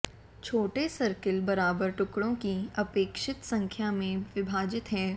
छोटे सर्किल बराबर टुकड़ो की अपेक्षित संख्या में विभाजित है